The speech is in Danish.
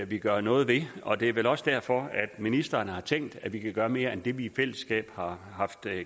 vi gøre noget ved og det er vel også derfor at ministeren har tænkt at vi kan gøre mere end det vi i fællesskab har haft